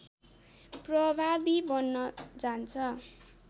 प्रभावी बन्न जान्छ